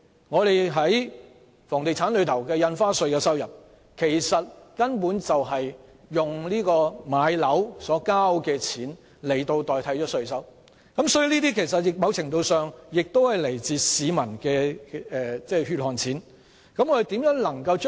我們在房地產方面的印花稅收入根本是以買樓的錢代替稅收，所以某程度上亦是來自市民的"血汗錢"。